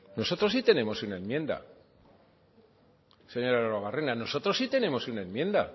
no nosotros sí tenemos una enmienda señor arruabarrena nosotros sí tenemos una enmienda